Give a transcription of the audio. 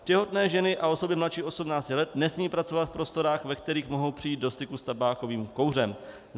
Těhotné ženy a osoby mladší 18 let nesmějí pracovat v prostorách, ve kterých mohou přijít do styku s tabákovým kouřem.